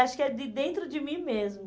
Acho que é de dentro de mim mesmo.